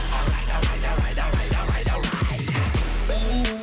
давай давай давай давай давай давай